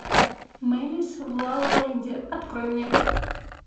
мэлис в лалаленде открой мне